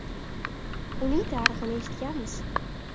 Uning tarixini eshitganmiz.